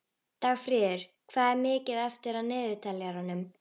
Dagfríður, hvað er mikið eftir af niðurteljaranum?